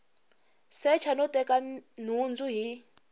secha no teka nhundzu hi